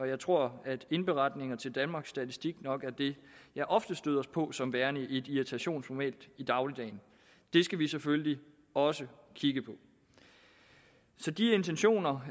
jeg tror at indberetninger til danmarks statistik nok er det jeg oftest støder på som værende et irritationsmoment i dagligdagen det skal vi selvfølgelig også kigge på så de intentioner